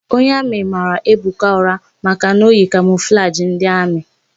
Onye amị mara Ebuka ụra maka na o yi kamọflajị ndị amị.